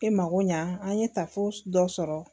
E mako ɲɛ an ye tafo dɔ sɔrɔ